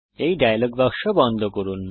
এই ডায়ালগ বাক্স বন্ধ করুন